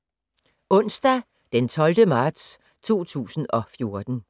Onsdag d. 12. marts 2014